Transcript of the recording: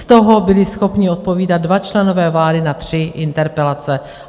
Z toho byli schopni odpovídat dva členové vlády na tři interpelace.